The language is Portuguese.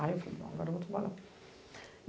Aí eu falei, agora eu vou trabalhar.